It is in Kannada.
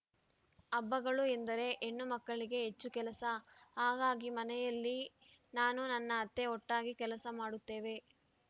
ಹಬ್ಬಗಳು ಎಂದರೆ ಹೆಣ್ಣು ಮಕ್ಕಳಿಗೆ ಹೆಚ್ಚು ಕೆಲಸ ಹಾಗಾಗಿ ಮನೆಯಲ್ಲಿ ನಾನು ನನ್ನ ಅತ್ತೆ ಒಟ್ಟಾಗಿ ಕೆಲಸ ಮಾಡುತ್ತೇವೆ